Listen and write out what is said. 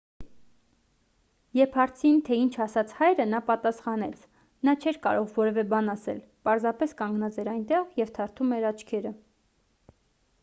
երբ հարցին թե ինչ ասաց հայրը նա պատասխանեց նա չէր կարող որևէ բան ասել պարզապես կանգնած էր այնտեղ և թարթում էր աչքերը